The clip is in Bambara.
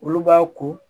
Olu b'a ko